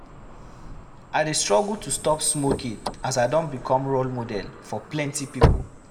I dey struggle to stop smoking as I don become role model for plenty pipo.